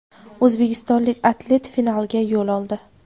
O‘zbekistonlik atlet finalga yo‘l oldi!.